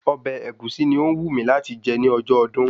Ọbẹ̀ Ẹ̀gúsí ni ó wù mí láti jẹ ní ọjọ́ ọdún